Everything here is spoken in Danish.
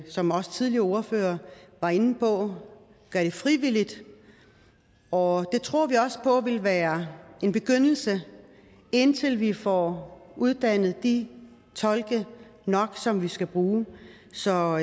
som også tidligere ordførere var inde på gør det frivilligt og det tror vi også på vil være en begyndelse indtil vi får uddannet de tolke som vi skal bruge så